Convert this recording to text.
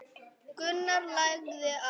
Gunnar lagði á.